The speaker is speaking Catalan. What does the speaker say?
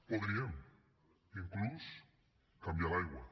podríem inclús canviar l’aigua